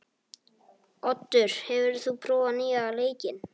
Oddur, hefur þú prófað nýja leikinn?